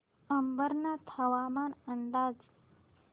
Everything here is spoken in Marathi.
अंबरनाथ हवामान अंदाज